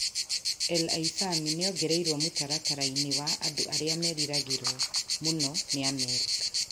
El Aissami nĩaongereirwo mũtaratara-inĩ wa andũ arĩa meriragĩrwo mũno nĩ Amerika.